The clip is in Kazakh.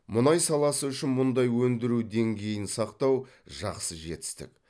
мұнай саласы үшін мұндай өндіру деңгейін сақтау жақсы жетістік